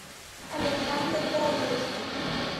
александр городецкий